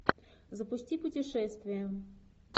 запусти путешествия